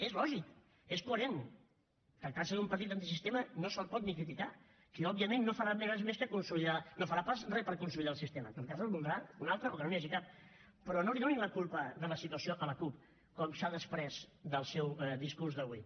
és lògic és coherent tractant se d’un partit antisistema no se’l pot ni criticar que òbviament no farà res per consolidar el sistema en tot cas en voldrà un altre o que no n’hi hagi cap però no li donin la culpa de la situació a la cup com s’ha desprès del seu discurs d’avui